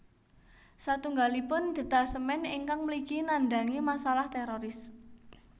Satunggalipun detasemén ingkang mligi nandhangi masalah téroris